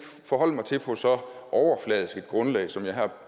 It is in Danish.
forholde mig til på så overfladisk et grundlag som jeg her